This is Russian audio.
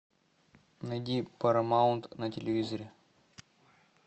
найди парамаунт на телевизоре